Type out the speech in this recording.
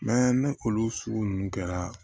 ni olu sugu ninnu kɛra